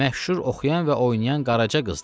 Məşhur oxuyan və oynayan Qaraca qızdır.